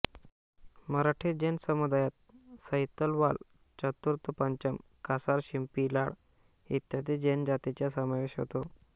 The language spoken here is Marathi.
मराठी जैन समुदायात सैतवाल चतुर्थपंचम कासार शिंपी लाड इत्यादी जैन जातीचा समावेश होतो